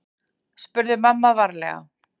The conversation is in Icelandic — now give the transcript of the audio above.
spurði mamma varlega.